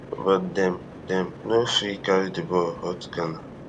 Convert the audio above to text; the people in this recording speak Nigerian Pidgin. but dem dem no fit carry di ball hurt ghana